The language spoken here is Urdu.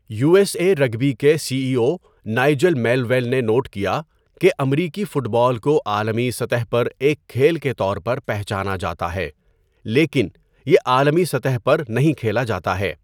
یو ایس اے رگبی کے C E O Nigel Melville نے نوٹ کیا کہ 'امریکی فٹ بال کو عالمی سطح پر ایک کھیل کے طور پر پہچانا جاتا ہے، لیکن یہ عالمی سطح پر نہیں کھیلا جاتا ہے۔'